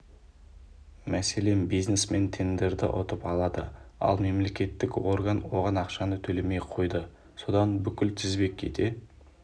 мәселен бизнесмен тендерді ұтып алады ал мемлекеттік орган оған ақшаны төлемей қойды содан бүкіл тізбек кете